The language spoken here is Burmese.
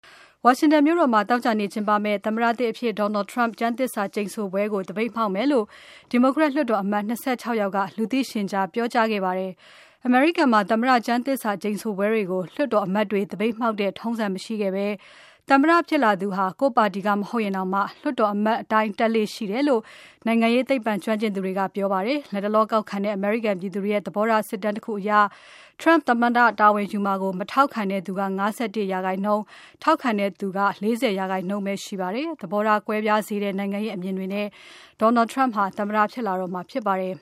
ဝါရှင်တန်မြို့တော်မှာ သောကြာနေ့ကျင်းပမယ့် သမ္မတသစ်အဖြစ် Donald Trump ကျမ်းသစ္စာကျိန်ဆိုပွဲကို သပိတ်မှောက်မယ်လို့ Democrat လွှတ်တော်အမတ် ၂၆ ယောက်က လူသိရှင်ကြားပြောခဲ့ကြပါတယ်။ အမေရိကန်မှာ သမ္မတကျမ်းသစ္စာကျိန်ဆိုပွဲကို လွှတ်တော်အမတ်တွေ သပိတ်မှောက်ခဲ့တဲ့ထုံးစံမရှိခဲ့ဘဲ သမ္မတဖြစ်လာသူဟာ ကိုယ့်ပါတီက မဟုတ်ရင်တောင် လွှတ်တော်အမတ်တိုင်းတက်လေ့ရှိတယ်လို့ နိုင်ငံရေးသိပ္ပံကျွမ်းကျင်သူတွေက ပြောပါတယ်။ လတ်တလောကောက်ခံထားတဲ့ အမေရိကန်ပြည်သူတွေရဲ့ သဘောထားစစ်တမ်းတခုအရ Trump သမ္မတတာဝန်ယူမှာကို မထောက်ခံသူ ၅၁% ထောက်ခံသူက ၄၀% ပဲရှိပါတယ်။ သဘောထားကွဲပြားစေတဲ့ နိုင်ငံရေးအမြင်တွေနဲ့ Donald Trump သမ္မတဖြစ်လာတော့မှာဖြစ်ပါတယ်